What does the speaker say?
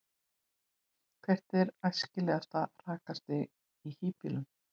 hvert er æskilegt rakastig í hýbýlum